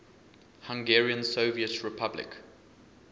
hungarian soviet republic